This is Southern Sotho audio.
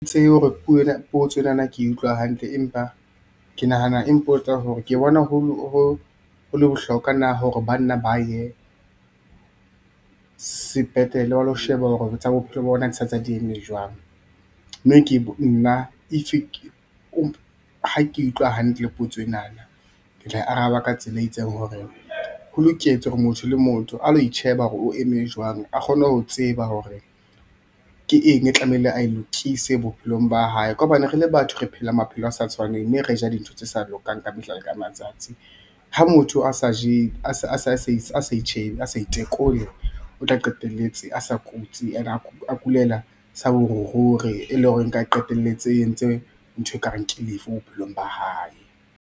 Ha ke tsebe hore potso ena na ke utlwa hantle empa ke nahana e mpotsa hore ke bona ho le bohlokwa na hore banna ba ye sepetlele ba lo sheba hore tsa bophelo ba bona di sa ntse di eme jwang? mme nna if ha ke e utlwa hantle potso enana ke tla e araba ka tsela e itseng hore, ho loketse hore motho le motho a lo itjheba hore o eme jwang a kgone ho tseba hore ke eng e tlamehile a e lokise bophelong ba hae ka hobane rele batho re phela maphelo a sa tshwaneng mme re ja dintho tse sa lokang ka mehla le matsatsi. Ha motho a sa itjhebe a sa itekole o tla qetelletse a sa kutsi and-e a kulela sa boruri e le hore nka qetelletse entse ntho e ka reng ke lefu bophelong ba hae.